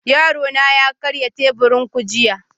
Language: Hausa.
Yarona ya karya teburin ku jiya